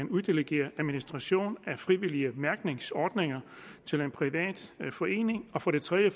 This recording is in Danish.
uddelegere administrationen af frivillige mærkningsordninger til en privat forening for det tredje